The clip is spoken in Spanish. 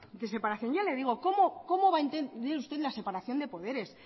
de separación ya le digo cómo va a entender usted la separación de poderes